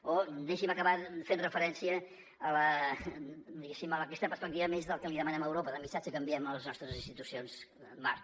o deixi’m acabar fent referència diguéssim a aquesta perspectiva més del que li demanem a europa del missatge que enviem a les nostres institucions marc